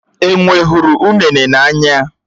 Enwé hụrụ unéné n'anya